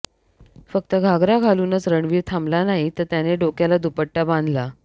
फक्त घाघरा घालूनच रणवीर थांबला नाही तर त्याने डोक्याला दुपट्टा बांधला